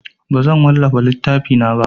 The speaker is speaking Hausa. Bazan wallafa littafina ba.